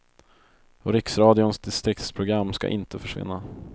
Och riksradions distriktsprogram skall inte försvinna.